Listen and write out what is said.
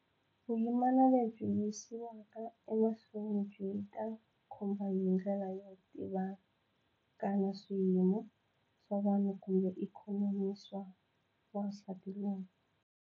Vuyimana lebyi yisiwaka emahlweni byi ta khumba hi ndlela yo tivikana swiyimo swa vanhu kumbe ikhonomi swa wansati loyi.